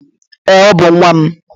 Ee, Ọ bú nwam